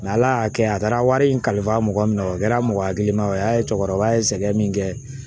ala ya kɛ a taara wari in kalifa mɔgɔ min na, o kɛra mɔgɔ hakili ma ye, o y'a ye cɛkɔrɔba ye sɛgɛn min kɛ.